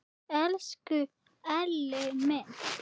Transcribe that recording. Elsku Elli minn!